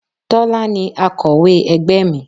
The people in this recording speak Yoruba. Tọ́lá ni akọ̀wé ẹgbẹ́ mi.